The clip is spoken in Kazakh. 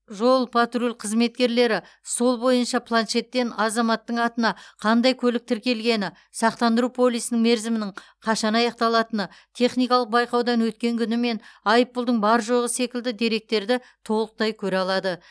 жол патруль қызметкерлері сол бойынша планшеттен азаматтың атына қандай көлік тіркелгені сақтандыру полисінің мерзімінің қашан аяқталатыны техникалық байқаудан өткен күні мен айыппұлдың бар жоғы секілді деректерді толықтай көре алады